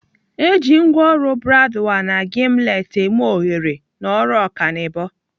Eji ngwaọrụ bradwal na gimlet eme oghere n'ọrụ ọkanibo.